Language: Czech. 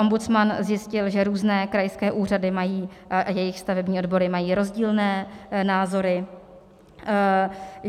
Ombudsman zjistil, že různé krajské úřady a jejich stavební odbory mají rozdílné názory.